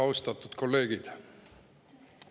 Austatud kolleegid!